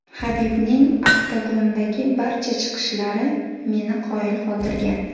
Habibning oktagondagi barcha chiqishlari meni qoyil qoldirgan.